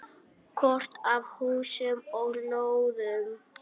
Kort af húsum og lóðum.